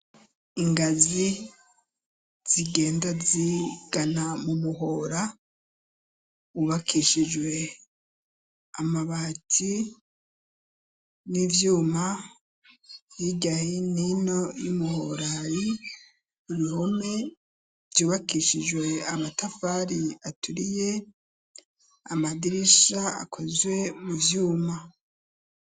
Ingazi zigenda zigana mu muhora ubakishijwe amabati n'ivyuma y'igahinino y'umuhorayi rihome vyubakishijwe amatafarie aturiye amadirisha akozwe mu vyuma.